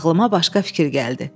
Ağlıma başqa fikir gəldi.